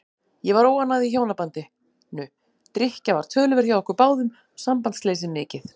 Ég var óánægð í hjónabandinu, drykkja var töluverð hjá okkur báðum og sambandsleysið mikið.